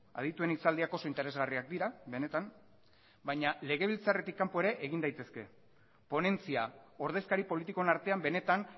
adituen hitzaldiak oso interesgarriak dira benetan baina legebiltzarretik kanpo ere egin daitezke ponentzia ordezkari politikoen artean benetan